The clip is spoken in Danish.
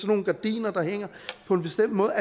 nogle gardiner der hænger på en bestemt måde